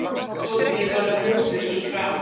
Tóti varð rjóður í framan.